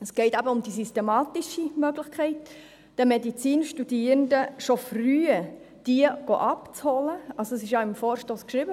Es geht eben um die systematische Möglichkeit, die Medizinstudierenden schon früh abzuholen – dies wurde ja im Vorstoss beschrieben: